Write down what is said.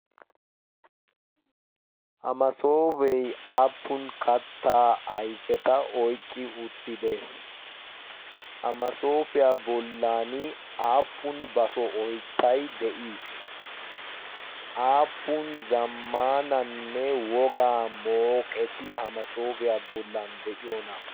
ha masoopee aappun kattaa aifeta oiqqi uttide? hamasoofiyaa bollan aappun baso oittai de7ii? aappun zammaananne wogaa mooqeti ha masoofiyaa bollan de7iyoona?